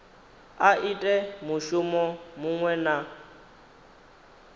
a ite mushumo muṅwe na